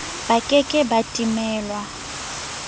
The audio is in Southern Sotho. ba ke ke ba timelwa